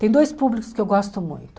Tem dois públicos que eu gosto muito.